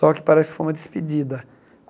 Só que parece que foi uma despedida.